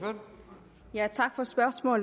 jeg er